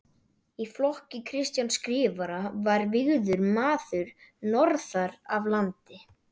Í flokki Kristjáns Skrifara var vígður maður norðan af landi.